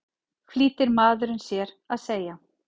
flýtir maðurinn sér að segja.